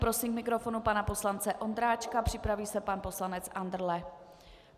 Prosím k mikrofonu pana poslance Ondráčka, připraví se pan poslanec Andrle.